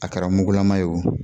A kɛra mugulama ye o,